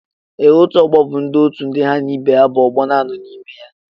Ee, otú ọgbọ bụ otú ndị ha na ibe ha bú ọgbọ nanọ n'ime ya.